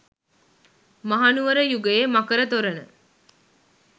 මහනුවර යුගයේ මකර තොරණ